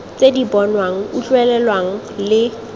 tse di bonwang utlwelelwang le